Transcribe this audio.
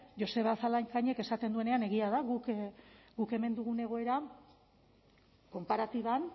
joseba zalakainek esaten duenean egia da guk hemen dugun egoera konparatiban